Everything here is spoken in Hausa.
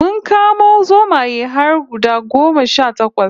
Mun kamo zomaye har guda goma sha takwas